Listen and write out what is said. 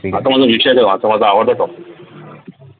हा तर माझा विषय हा तर माझा आवडता topic